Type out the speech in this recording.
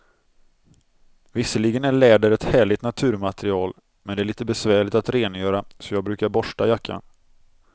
Visserligen är läder ett härligt naturmaterial, men det är lite besvärligt att rengöra, så jag brukar borsta jackan.